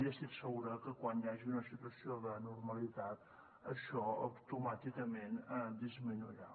i estic segura que quan hi hagi una situació de normalitat això automàticament disminuirà